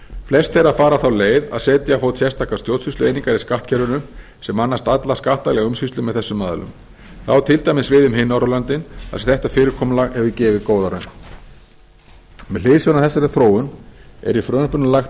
flest þeirra fara þá leið að setja á fót sérstakar stjórnsýslueiningar í skattkerfinu sem annast alla skattalega umsýslu með þessum aðilum það á til dæmis við um hin norðurlöndin þar sem þetta fyrirkomulag hefur gefið góða raun með hliðsjón af þessari þróun er í frumvarpinu lagt